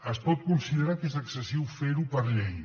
es pot considerar que és excessiu fer ho per llei